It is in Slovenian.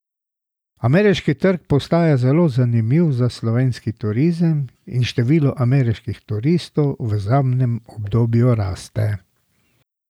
Ameriški trg postaja zelo zanimiv za slovenski turizem in število ameriških turistov v zadnjem obdobju raste.